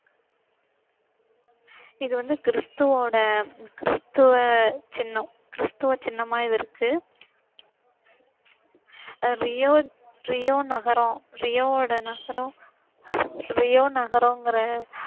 இது வந்து கிறிஸ்துவோட கிறிஸ்துவ சின்னம். கிறிஸ்துவ சின்னமா இது இருக்கு. ரியோ ரியோ நகரம் ரியோவோட நகரம் ரியோ நகரங்கற